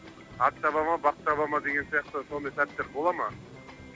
ат шаба ма бап шабама деген сияқты сондай сәттер бола ма